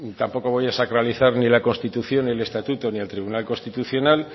tampoco voy a sacralizar ni la constitución ni el estatuto ni el tribunal constitucional